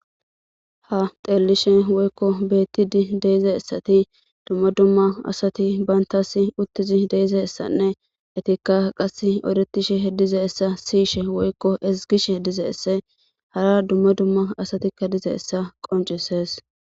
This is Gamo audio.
Ha xelishn woykko betid de'zaysat dumma dumma asat bantas utid de'yaysanne etika qase eretishe dizaysa Siyishe woykko ezigishe dizays hara dumma dumma asatika dizaysa qoncises